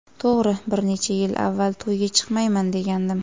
To‘g‘ri, bir necha yil avval: ‘To‘yga chiqmayman’, degandim.